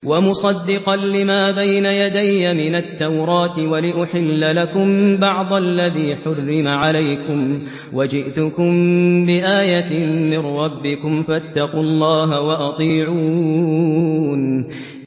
وَمُصَدِّقًا لِّمَا بَيْنَ يَدَيَّ مِنَ التَّوْرَاةِ وَلِأُحِلَّ لَكُم بَعْضَ الَّذِي حُرِّمَ عَلَيْكُمْ ۚ وَجِئْتُكُم بِآيَةٍ مِّن رَّبِّكُمْ فَاتَّقُوا اللَّهَ وَأَطِيعُونِ